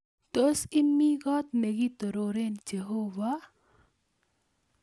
Tos imi kot ne kitorore jehova?